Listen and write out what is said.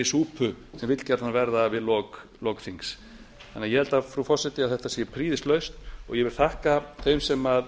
súpu sem vill gjarnan verða við lok þings ég held frú forseti að þetta sé prýðislausn og ég vil þakka þeim sem